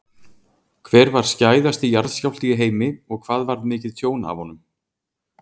Hver var skæðasti jarðskjálfti í heimi og hvað varð mikið tjón af honum?